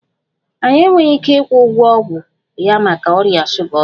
Anyị enweghị ike ịkwụ ụgwọ ọgwụ ya maka ọrịa shuga ọzọ